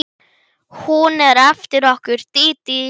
Hún er eftir okkur Dídí.